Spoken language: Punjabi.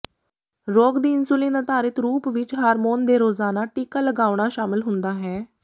ਰੋਗ ਦੀ ਇਨਸੁਲਿਨ ਅਧਾਰਿਤ ਰੂਪ ਵਿੱਚ ਹਾਰਮੋਨ ਦੇ ਰੋਜ਼ਾਨਾ ਟੀਕਾ ਲਗਾਉਣਾ ਸ਼ਾਮਲ ਹੁੰਦਾ ਹੈ